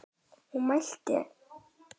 Hún mælti: Á